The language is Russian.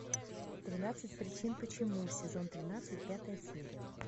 тринадцать причин почему сезон тринадцать пятая серия